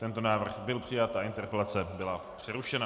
Tento návrh byl přijat a interpelace byla přerušena.